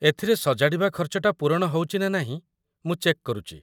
ଏଥିରେ ସଜାଡ଼ିବା ଖର୍ଚ୍ଚଟା ପୂରଣ ହଉଚି ନା ନାହିଁ ମୁଁ ଚେକ୍ କରୁଚି ।